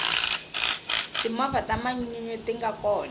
timovha ta manyunyu tinga kona